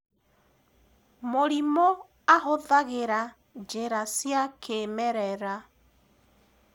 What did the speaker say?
murimu ahuthagira njira cia kĩmerera